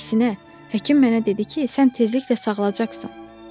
Əksinə, həkim mənə dedi ki, sən tezliklə sağalacaqsan.